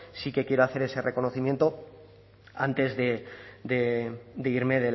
sí que quiero hacer ese reconocimiento antes de irme